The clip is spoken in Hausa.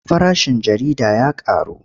Farashin jarida ya ƙaru.